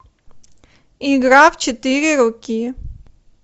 игра в четыре руки